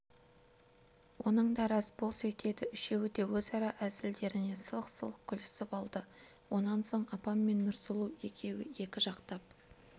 оның да рас бұл сөйтеді үшеуі де өзара әзілдеріне сылқ-сылқ күлісіп алды онан соң апам мен нұрсұлу екеуі екі жақтап